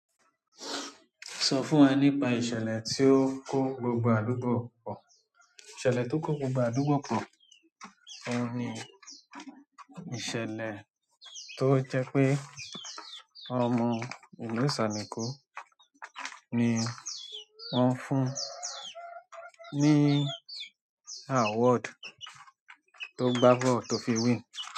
Sọ fún wa nípa ìṣẹ̀lẹ̀ tí ó kó gbogbo àdúgbò pọ̀. Ìṣẹ̀lẹ̀ tó kó gbogbo àdúgbò pọ̀, òun ni ìṣẹ̀lẹ̀ tó jẹ́ pé ọmọ ìlú Ìsàlẹ̀ Eko ni wọ́n fún ní award tó gba ball tó fi win.